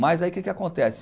Mas aí o que que acontece?